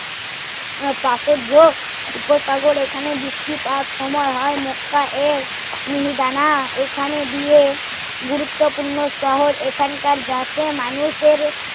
পাশের ঝোক উপসাগর এখানে বৃষ্টিপাত সময় হয় মক্কা এর মিহিদানা এখানে দিয়ে গুরুত্বপূর্ণ শহর এখানকার যাতে মানুষের